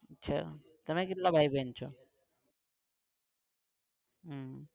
છે તમે કેટલા ભાઈ બેન છો?